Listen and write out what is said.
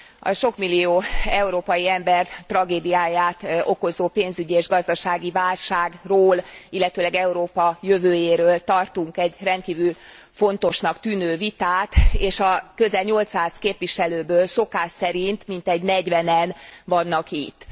A sok millió európai ember tragédiáját okozó pénzügyi és gazdasági válságról, illetőleg Európa jövőjéről tartunk egy rendkívül fontosnak tűnő vitát és a közel 800 képviselőből szokás szerint mintegy negyvenen vannak itt.